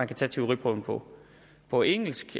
kan tage teoriprøven på på engelsk